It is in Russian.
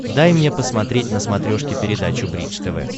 дай мне посмотреть на смотрешке передачу бридж тв